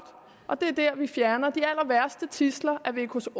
og det er der vi fjerner de allerværste tidsler af vkos